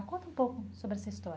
Conta um pouco sobre essa história.